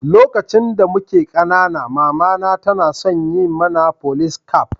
Lokaci da mike kanana, mama na tana yawan son yin mana Folice caf.